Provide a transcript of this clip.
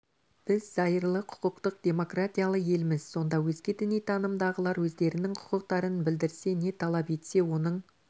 біз зайырлы құқықтық демократиялы елміз сонда өзге діни танымдағылар өздерінің құқықтарын білдірсе не талап етсе оның